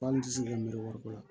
Hali n ti se ka miiri wari ko la